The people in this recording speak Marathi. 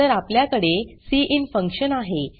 नंतर अपल्यकडे सिन फंक्शन आहे